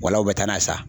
Wala u bɛ taa n'a ye sa